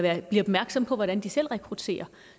at blive opmærksom på hvordan de selv rekrutterer